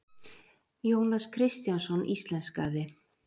Jónas Kristjánsson íslenskaði.